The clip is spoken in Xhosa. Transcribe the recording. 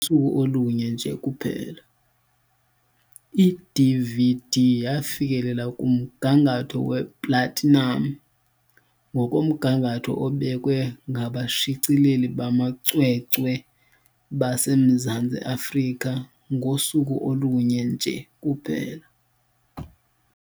I-DVD yafikelela kumgangatho we"platinum", ngokomgangatho obekwe ngabashicileli bamacwecwe baseMzantsi Afrika, ngosuku olunye nje kuphela.